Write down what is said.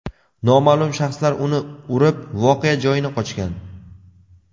Noma’lum shaxslar uni urib, voqea joyini qochgan.